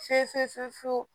Fe fe fe fe fe fe